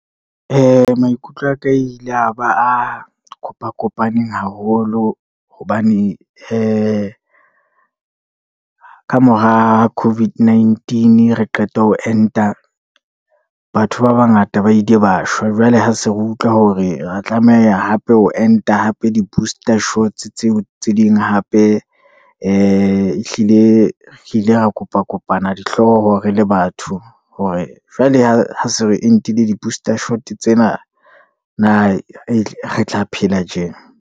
Maikutlo aka a ile a ba a kopakopaneng haholo, hobane ee kamora Covid nineteen re qeta ho enta, batho ba bangata ba ile ba shwa. Jwale ha se re utlwa hore re tlameha hape ho enta hape di-booster shots tseo tse ding hape, ee ehlile e re ile ra kopa kopana dihlooho re le batho, hore jwale ha se re entile di-booster shot tsena. Na e re tla phela tjee.